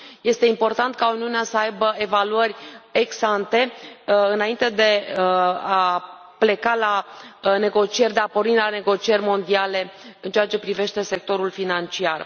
Este important ca Uniunea să aibă evaluării ex ante înainte de a pleca la negocieri, de a porni la negocieri mondiale în ceea ce privește sectorul financiar.